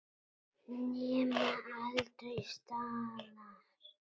Nema aldrei staðar.